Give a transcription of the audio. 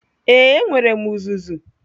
Ee, enwere m uzuzu.